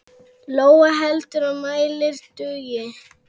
Lóa: Heldurðu að mælirinn dugi?